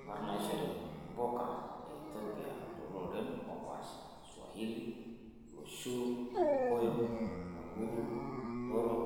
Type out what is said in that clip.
Nkarn naishori mpuka e Ethopia too loreeren oopasha:Swahili; Loshuu, Irkokoyok; Kaguru/Thoro,